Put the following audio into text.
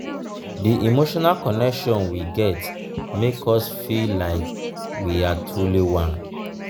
di emotional connection we get make us feel like we are truly one.